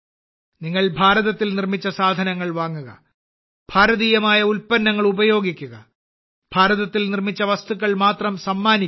നിങ്ങൾ ഭാരതത്തിൽ നിർമ്മിച്ച സാധനങ്ങൾ വാങ്ങുക ഭാരതീയമായ ഉൽപ്പന്നങ്ങൾ ഉപയോഗിക്കുക ഭാരതത്തിൽ നിർമ്മിച്ച വസ്തുക്കൾ മാത്രം സമ്മാനിക്കുക